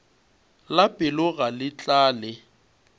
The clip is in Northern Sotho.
la pelo ga le tlale